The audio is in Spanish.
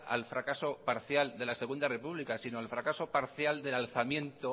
al fracaso parcial de la segundo república sino al fracaso parcial del alzamiento